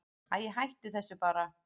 Æi, hættu þessu bara.